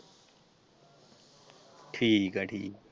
ਠੀਕ ਹੈ ਜੀ।